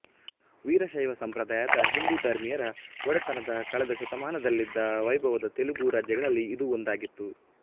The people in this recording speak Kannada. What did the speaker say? ವೀರಶೈವ ಸಂಪ್ರದಾಯದ ಹಿಂದೂ ಧರ್ಮೀಯರ ಒಡೆತನದ ಕಳೆದ ಶತಮಾನದಲ್ಲಿದ್ದ ವೈಭವದ ತೆಲುಗು ರಾಜ್ಯಗಳಲ್ಲಿ ಇದೂ ಒಂದಾಗಿತ್ತು